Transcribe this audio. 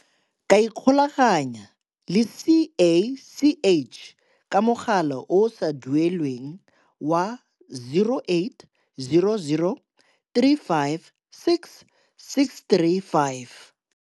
ka ikgolaganya le CACH ka mogala o o sa duelelweng wa, 0800 356 635.